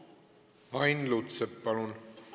Ain Lutsepp, palun!